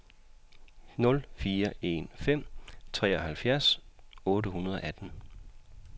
nul fire en fem treoghalvfjerds otte hundrede og atten